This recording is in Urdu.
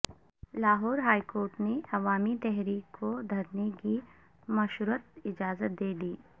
لاہور ہائی کورٹ نے عوامی تحریک کو دھرنے کی مشروط اجازت دے دی